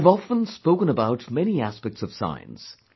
I have often spoken about many aspects of science